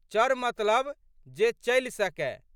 चर मतलब जे चलि सकए।